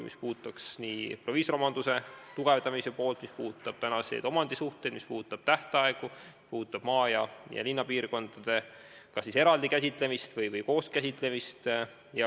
Need puudutavad nii proviisoromanduse tugevdamist, tänaseid omandisuhteid, tähtaegu, maa- ja linnapiirkondade käsitlemist kas eraldi või koos.